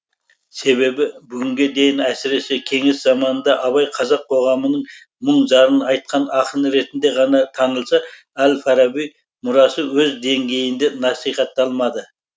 себебі бүгінге дейін әсіресе кеңес заманында абай қазақ қоғамының мұң зарын айтқан ақын ретінде ғана танылса әл фараби мұрасы өз деңгейінде насихатталмады